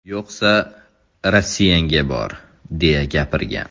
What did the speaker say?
Yo‘qsa, Rossiyangga bor!”, deya gapirgan.